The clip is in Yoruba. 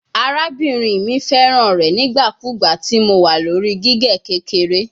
Arabinrin mi fẹran rẹ nigbakugba ti Mo wa lori gige kekere